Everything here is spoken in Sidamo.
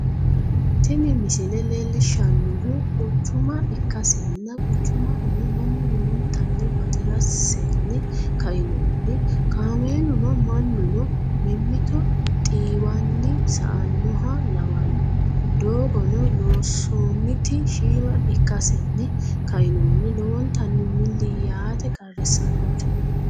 tini misile leellishshannohu quchuma ikkasinna quchumahono mannu lowontanni bati'rasenni ka'nohunni kaameeluno mannuno mimmito xiiwanni sa'annoha lawanno, doogono loonsoonniti shiima ikkasenni ka'inohunni lowontannni milli yaate qarrisannote.